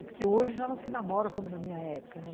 Porque hoje ela não se namora como na minha época, né?